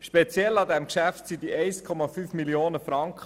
Speziell an diesem Geschäft sind diese 1,5 Mio. Franken.